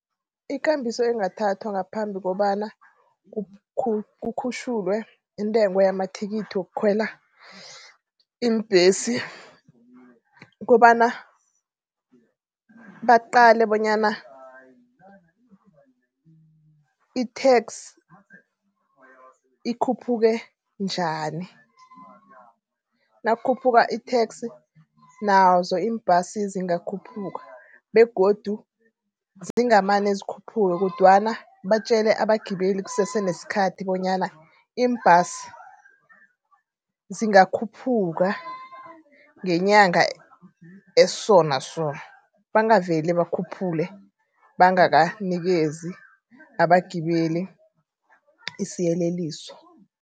Ikambiso engathathwa ngaphambi kobana kukhutjhulwe intengo yamathikithi wokhwela iimbesi. Kukobana baqale bonyana i-tax ikhuphuke njani. Nakukhuphuka i-tax nazo iimbhasi zingakhuphuka begodu zingamane zikhuphuke kodwana batjele abagibeli kusese neskhathi bonyana, iimbhasi zingakhuphuka ngenyanga eso naso. Bangaveli bakhuphule bangakanikezi abagibeli isiyeleliso.